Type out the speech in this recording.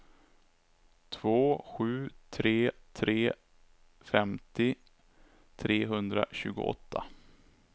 två sju tre tre femtio trehundratjugoåtta